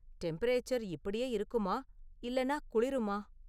Temperature இப்படியே இருக்குமா இல்லைனா குளிருமா?